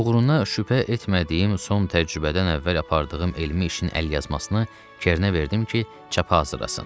Uğuruna şübhə etmədiyim son təcrübədən əvvəl apardığım elmi işin əlyazmasını Kernə verdim ki, çapa hazırlasın.